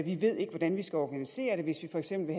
vi ved ikke hvordan vi skal organisere det hvis vi for eksempel